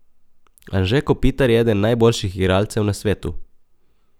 Anže Kopitar je eden najboljših igralcev na svetu!